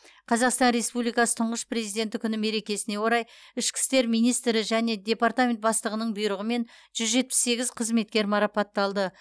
қазақстан республикасы тұңғыш президенті күні мерекесіне орай ішкі істер министрі және департамент бастығының бұйрығымен жүз жетпіс сегіз қызметкер марапатталды